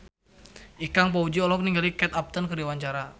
Ikang Fawzi olohok ningali Kate Upton keur diwawancara